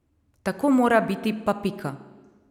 Tako mora biti pa pika.